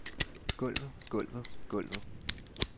gulvet gulvet gulvet